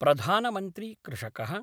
प्रधानमन्त्रीकृषक: